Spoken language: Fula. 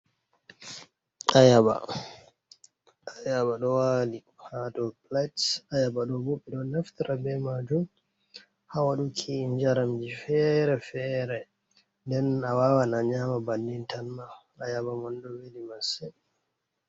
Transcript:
Ayaba, ayaba ɗo wali ha dou plate, ayaba do bo ɓeɗo naftara bei majum ha waɗuki njaramji fere-fere, den a wawan a nyama bannin tan ma, ayaba mon ɗo weli massin.